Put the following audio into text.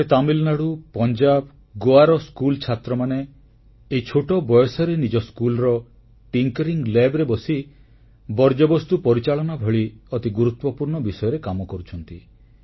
ଏପଟେ ତାମିଲନାଡ଼ୁ ପଞ୍ଜାବ ଗୋଆର ସ୍କୁଲ ଛାତ୍ରମାନେ ଏଇ ଛୋଟ ବୟସରେ ନିଜ ସ୍କୁଲର ନବସୃଜନ ପ୍ରୟୋଗଶାଳାରେ ବସି ବର୍ଜ୍ୟବସ୍ତୁ ପରିଚାଳନା ଭଳି ଅତି ଗୁରୁତ୍ୱପୂର୍ଣ୍ଣ ବିଷୟରେ କାମ କରୁଛନ୍ତି